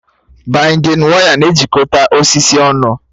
Baịndịn waya na-ejikọta osisi ọnụ